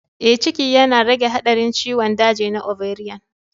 Ee, ciki yana rage haɗarin ciwon daji na ovarian.